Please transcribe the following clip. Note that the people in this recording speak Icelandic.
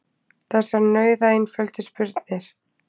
Þessar nauðaeinföldu spurnir.